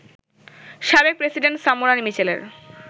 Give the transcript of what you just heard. সাবেক president Samora মিচেলের